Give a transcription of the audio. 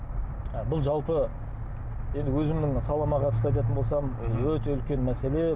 бұл жалпы енді өзімнің салама қатысты айтатын болсам өте үлкен мәселе